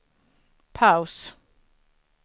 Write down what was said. paus